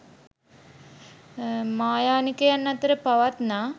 මහායානිකයන් අතර පවත්නා